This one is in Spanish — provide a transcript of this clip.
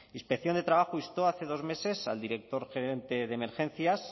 inspección de trabajo instó hace dos meses al director gerente de emergencias